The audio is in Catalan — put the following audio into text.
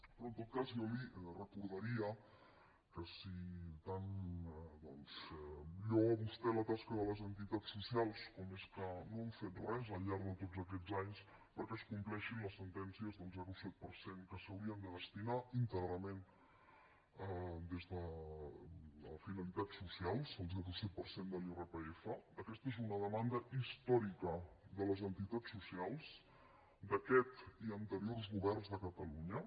però en tot cas jo li recordaria que si tant lloa vostè la tasca de les entitats socials com és que no han fet res al llarg de tots aquests anys perquè es compleixin les sentències del zero coma set per cent que s’hauria de destinar íntegrament a finalitats socials el zero coma set per cent de l’irpf aquesta és una demanda històrica de les entitats socials d’aquest i anteriors governs de catalunya